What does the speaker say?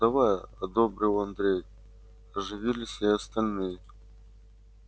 давай одобрил андрей оживились и остальные